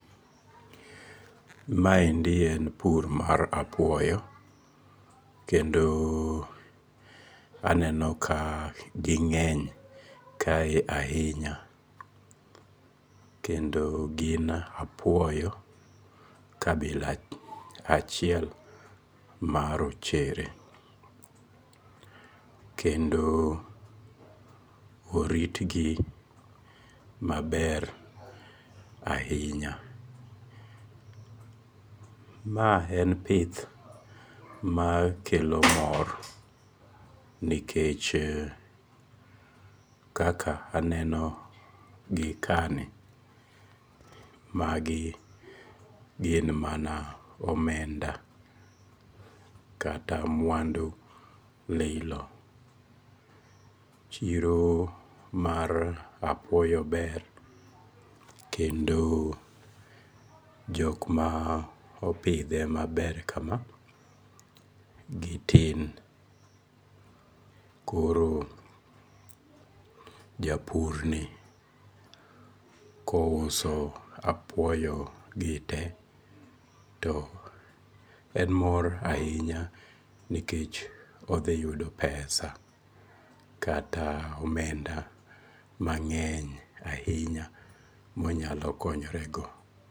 Maendi en pur mar apuoyo, kendo aneno ka ging'eny kae ahinya kendo gin apuoyo kabila achiel marochere kendo oritgi maber ahinya. Mae en pith makelo mor nikech kaka aneno gi kani magi gin mana omenda kata mwandu lilo, chiro mar apuoyo ber kendo jok ma opithe maber kama gi tin, koro ja purni kouso apuoyo gite to en mor ahinya nikech odhi yudo pesa kata omenda mang'eny ahinya monyalo konyorego